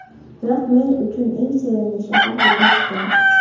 Biroq men uchun eng sevimli shahar bu Toshkent.